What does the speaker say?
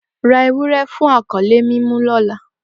Ra ewurẹ fun akọle mu ọla!